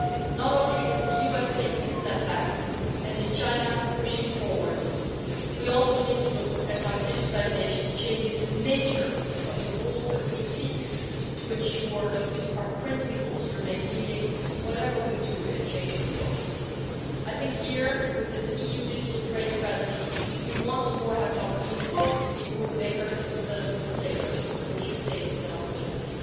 Not only is the USA taking a step back and China pushing forward, we also need to look at how digitisation changes the nature of the rules that we seek to ensure our principles remain leading, whatever we do in a changing world. I think here, with this EU Digital Trade Strategy, we once more have an opportunity to be rule makers instead of rule takers and we should take that opportunity.